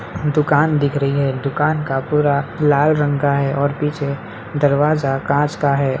दुकान दिख रही है दुकान का पूरा लाल रंग का है और पीछे दरवाजा कांच का है।